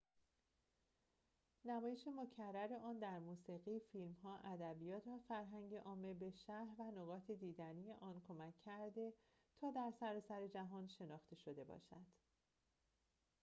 نمایش مکرر آن در موسیقی فیلم‌ها ادبیات و فرهنگ عامه به شهر و نقاط دیدنی آن کمک کرده تا در سراسر جهان شناخته شده باشد